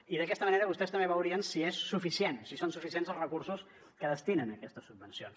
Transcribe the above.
i d’aquesta manera vostès també veurien si és suficient si són suficients els recursos que destinen a aquestes subvencions